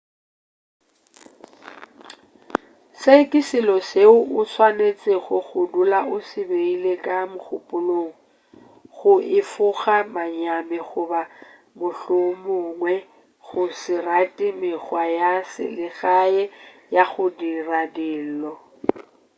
se ke selo seo o swanetšego go dula o se beile ka mogopolong go efoga manyami goba mohlomongwe go se rate mekgwa ya selegae ya go dira dilo